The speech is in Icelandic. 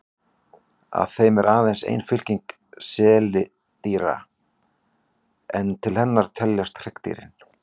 Af þeim er aðeins ein fylking seildýra, en til hennar teljast hryggdýrin.